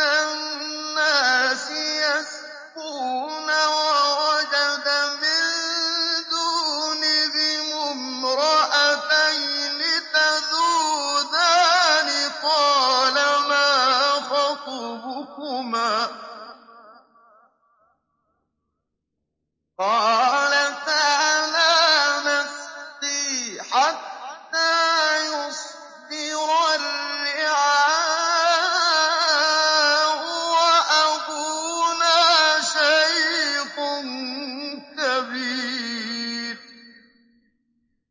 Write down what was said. النَّاسِ يَسْقُونَ وَوَجَدَ مِن دُونِهِمُ امْرَأَتَيْنِ تَذُودَانِ ۖ قَالَ مَا خَطْبُكُمَا ۖ قَالَتَا لَا نَسْقِي حَتَّىٰ يُصْدِرَ الرِّعَاءُ ۖ وَأَبُونَا شَيْخٌ كَبِيرٌ